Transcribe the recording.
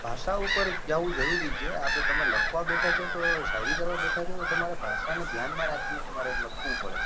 ભાષા ઉપર જવું જરૂરી છે આપડે તમે લખવા બેઠા છો શાયરી કરવા બેઠા છો તો તમારે ભાષા ને ધ્યાન માં રાખી ને તમારે લખવું પડે.